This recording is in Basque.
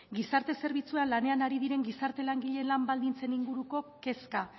gizarte zerbitzuan lanean ari diren gizarte langileen lan baldintzen inguruko kezka